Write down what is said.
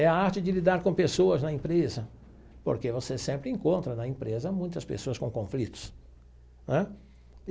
É a arte de lidar com pessoas na empresa, porque você sempre encontra na empresa muitas pessoas com conflitos né.